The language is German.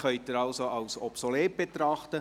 Sie können ihn also als obsolet betrachten.